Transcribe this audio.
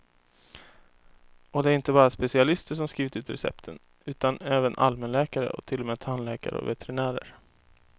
Och det är inte bara specialister som skrivit ut recepten, utan även allmänläkare och till och med tandläkare och veterinärer.